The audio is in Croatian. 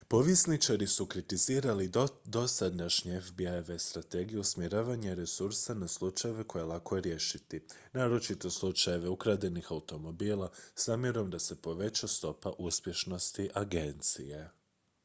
povjesničari su kritizirali dosadašnje fbi-eve strategije usmjeravanja resursa na slučajeve koje je lako riješiti naročito slučajeve ukradenih automobila s namjerom da se poveća stopa uspješnosti agencije